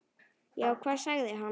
Já, hvað sagði hann?